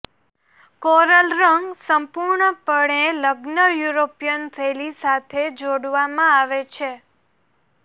coral રંગ સંપૂર્ણપણે લગ્ન યુરોપીયન શૈલી સાથે જોડવામાં આવે છે